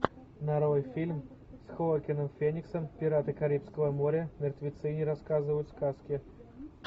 нарой фильм с хоакином фениксом пираты карибского моря мертвецы не рассказывают сказки